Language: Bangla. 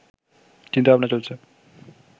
চিন্তা-ভাবনা চলছে